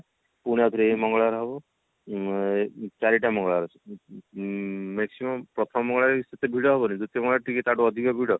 ମଙ୍ଗଳବାର ହଉ ଉଁ ଚାରିଟା ମଙ୍ଗଳବାର ଅଛି ଉଁ maximum ପ୍ରଥମ ମଙ୍ଗଳବାର ସେତେ ଭିଡ ହବନି ଦ୍ଵିତୀୟ ମଙ୍ଗଳବାର ତା ଠାରୁ ଟିକେ ଅଧିକ ଭିଡ